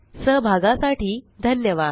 सहभागासाठी धन्यवाद